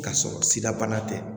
Ka sɔrɔ sidabana tɛ